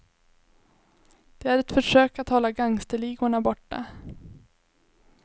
Det är ett försök att hålla gangsterligorna borta.